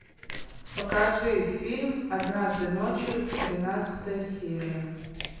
покажи фильм однажды ночью тринадцатая серия